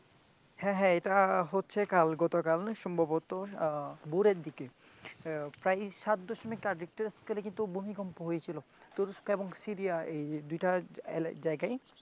হ্যাঁ হ্যাঁ এটা হচ্ছে কাল না গতকাল সম্ভবত আহ ভোরের দিকে আহ প্রায় সাত দশমিক রিখটার স্কেলে কিন্তু ভুমিকম্প হয়েছিল তুরস্ক এবং সিরিয়ায় এই দুটা আলাগ জায়গায়.